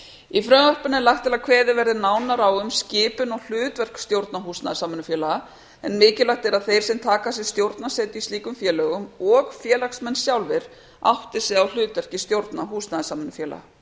í frumvarpinu er lagt til að kveðið verði nánar á um skipun og hlutverk stjórna húsnæðissamvinnufélaga en mikilvægt er að þeir sem taka að sér stjórnarsetu í slíkum félögum og félagsmenn sjálfir átti sig á hlutverki stjórna húsnæðissamvinnufélaga